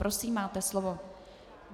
Prosím, máte slovo.